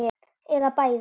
Eða bæði.